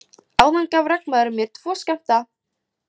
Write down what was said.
Áðan gaf regnmaðurinn mér tvo skammta.